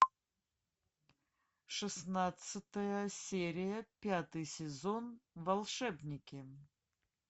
шестнадцатая серия пятый сезон волшебники